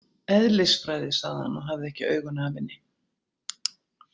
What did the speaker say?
Eðlisfræði, sagði hann og hafði ekki augun af henni.